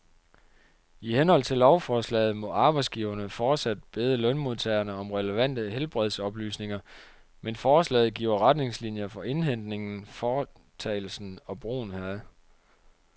I henhold til lovforslaget må arbejdsgiverne fortsat bede lønmodtagerne om relevante helbredsoplysninger, men forslaget giver retningslinier for indhentningen, foretagelsen og brugen heraf.